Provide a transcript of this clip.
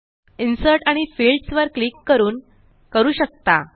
insert आणिFieldsवर click करून करू शकता